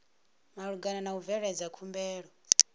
malugana na u bveledza khumbelo